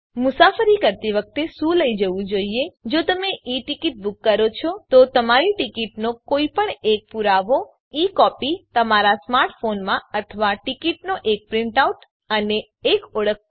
મુસાફરી કરતી વખતે શું લઇ જવું જોઈએ જો તમે ઈ ટીકીટ બૂક કરો છો તો તમારી ટીકીટનો કોઈપણ એક પુરાવો અને ઈ કોપી તમારા સ્માર્ટ ફોનમાં અથવા ટીકીટનો એક પ્રીંટ આઉટ અને એક ઓળખ કાર્ડ